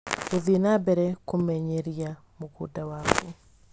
Gũthiĩ na mbere kũmenyeria mũgũnda waku.